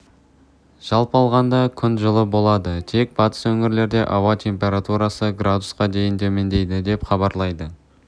жалпы алғанда күн жылы болады тек батыс өңірлерде ауа температурасы градусқа дейін төмендейді деп хабарлайды